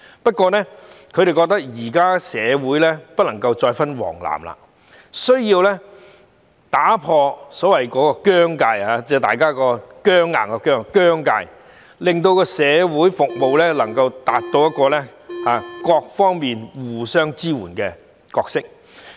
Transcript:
不過，他們認為社會人士不能夠再有黃藍之分，有需要打破所謂的"僵界"僵硬的"僵"在社會服務方面發揮互相支援的角色。